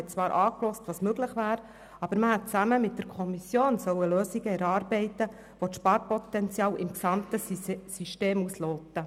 Man hat sich zwar angehört, was möglich wäre, aber man hätte zusammen mit der Kommission Lösungen erarbeiten sollen, welche das Sparpotenzial im gesamten System ausloten.